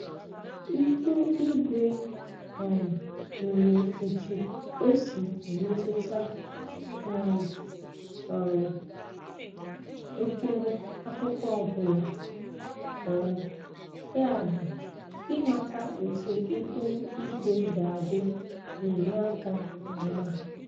Ihu igwe um nwere otu o si emetụta um um mkpụrụ akụkụ ọbụla, um yabu, imata etu ihu igwe ga-adị na-enye aka nke ọma.